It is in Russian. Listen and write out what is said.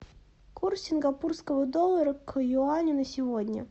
курс сингапурского доллара к юаню на сегодня